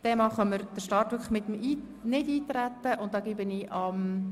Der Bericht Entlastungsprogramm EP 2018 wird zurückgewiesen.